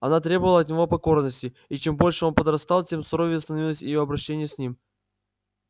она требовала от него покорности и чем больше он подрастал тем суровее становилось её обращение с ним